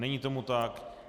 Není tomu tak.